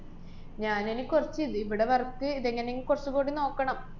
ഞാനിനി കൊറച്ച് ദ്~ ഇവിടെ work ഇതെങ്ങനെങ്ങ് കൊറച്ചുകൂടി നോക്കണം.